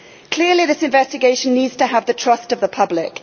Clearly this investigation needs to have the trust of the public.